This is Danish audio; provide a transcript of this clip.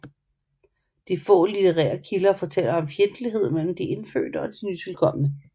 De få litterære kilder fortæller om fjendtlighed mellem de indfødte og de nytilkomne